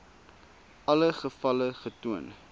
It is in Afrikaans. alle gevalle getoon